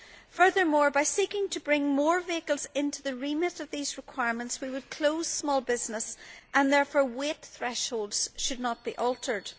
Furthermore, by seeking to bring more vehicles into the remit of these requirements, we would close small businesses, and therefore weight thresholds should not be altered.